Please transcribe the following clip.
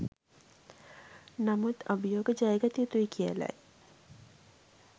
නමුත් අභියෝග ජයගත යුතුයි කියලයි